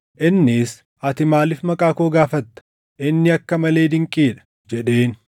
Innis, “Ati maaliif maqaa koo gaafatta? Inni akka malee dinqii dha” jedheen.